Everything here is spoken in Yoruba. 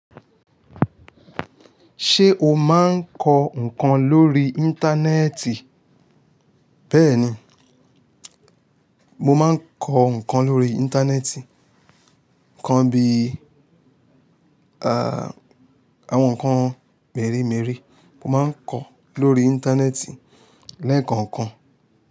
Ṣé o máa ń kọ ǹnkan lórí Íńtánẹ́ẹ̀tì? Bẹ́ẹ̀ni, mo máa ń kọ ǹkan lórí Íńtánẹ́ẹ̀tì. Ǹnkan bí i, àwọn ǹnkan mèremère mo máa ń kọ lórí Íńtánẹ́ẹ̀tì lẹ́ẹ̀kọ̀ọ̀kan.